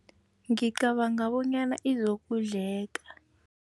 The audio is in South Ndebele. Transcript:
Ngicabanga bonyana izokudleka.